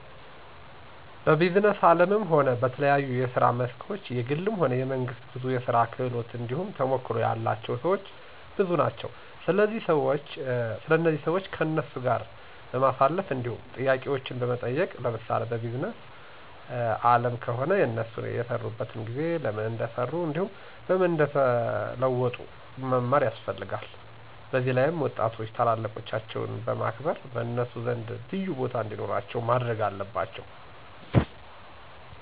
በቢዝነስ አለምም ሆነ በተለያየ የስራ መስኮች የግልም ሆነ የመንግስት ብዙ የስራ ክህሎት እንዲሁም ተሞክሮ ያላቸው ሰወች ብዙ ናቸው ስለዚህ ሰዋች ከነሱ ጋር በማሳለፍ እንዲሁም ጥያቄዎችን በመጠየቅ ለምሳሌ በቢዝነስ አለም ከሆነ የነሱን የከሰሩበትን ጊዜ፣ ለምን እንደከሰሩ እንዲሁም በምን እንደተወጡት መማር ያስፈለልጋል። በዚላይም ወጣቶች ታላላቆቻቸውን በማክበር በነሱ ዘንድ ልዩቦታ እንዲኖራቸው ማድረግ አለባቸው።